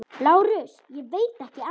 LÁRUS: Ég veit ekki annað.